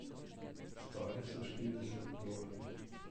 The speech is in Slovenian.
Stali so štirinajst dolarjev.